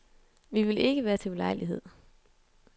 Vi vil ikke være til ulejlighed.